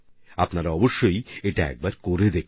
আপনারা এগুলি অবশ্যই চেষ্টা করে দেখুন